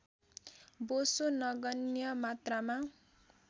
बोसो नगन्य मात्रामा